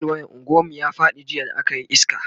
fal wayan unguwan mu ya Faɗi jiya da akayi iska